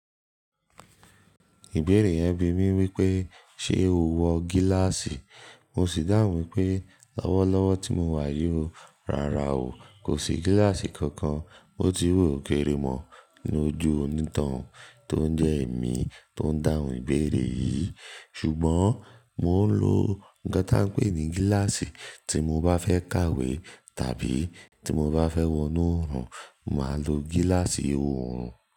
Ìbéèrè yẹn bi mí wípé ṣe o wọ gíláàsì. Mo si dàhùn wípé lọ́wọ́lọ́wọ́ tí mo wà yóò, rárá o. Kò sí gíláàsì kankan. Mo ti wù ó kéré mọ̀ ní ojú onítohun tó ń jẹ́ èmi tó ń dáhùn ìbéèrè yìí. Ṣùgbọ́n mo ń lo nǹkan tá a ń pè ní gíláàsì tí mo bá fẹ́ kàwé tàbí tí mo bá fẹ́ wọnú òòrùn, màá lo gíláàsì òòrùn.